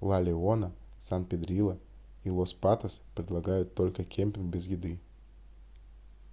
la leona san pedrillo и los patos предлагают только кэмпинг без еды